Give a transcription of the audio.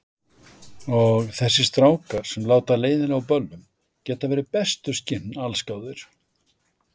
Og þessir strákar, sem láta leiðinlega á böllum, geta verið bestu skinn allsgáðir.